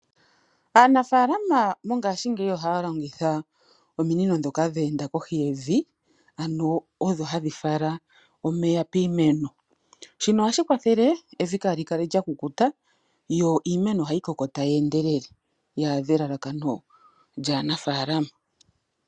Aanafaalama mongashi ngeyi ohaya longitha ominino dhoka dheenda kohi yevi, ano odho hadhi fala omeya piimeno. Shino ohashi kwathele evi lyaakale lyakukuta, yo iimeno ohayi koko tayi endelele yi adhe elalakano lyaanafaalama.